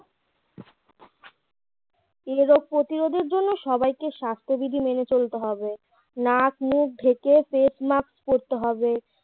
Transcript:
এই রোগ প্রতিরোধের জন্য সবাইকে স্বাস্থ্যবিধি মেনে চলতে হবে নাক মুখ ঢেকে face mask পরতে হবে